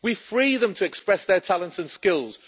We free them to express their talents and skills.